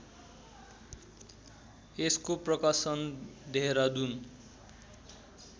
यसको प्रकाशन देहरादुन